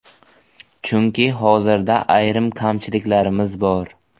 Chunki hozirda ayrim kamchiliklarimiz bor.